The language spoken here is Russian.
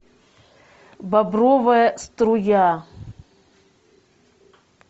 бобровая струя